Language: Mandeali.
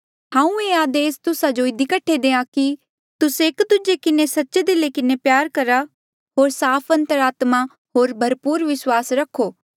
हांऊँ ये आदेस तुस्सा जो इधी कठे देआ कि तुस्से एक दूजे किन्हें सच्चे दिला किन्हें प्यार करा होर साफ अंतरात्मा होर भरपूर विस्वास रखो